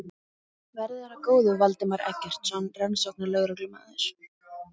Verði þér að góðu, Valdimar Eggertsson rannsóknarlögreglumaður.